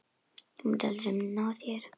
Þú munt aldrei ná þér.